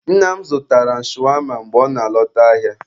Nna m zụtara m shawama mgbe ọ na-alọta ahịa.